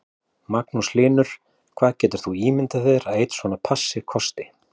Magnús Hlynur: Hvað getur þú ímyndað þér að einn svona passi kosti?